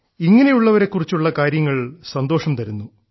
ഇങ്ങനെയുള്ളവരെക്കുറിച്ചുള്ള കാര്യങ്ങൾ സന്തോഷംതരുന്നു